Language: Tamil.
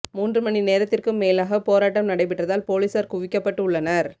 மூன்று மணி நேரத்திற்கும் மேலாக போராட்டம் நடைபெற்றதால் போலீசார் குவிக்கப்பட்டு உள்ளனர்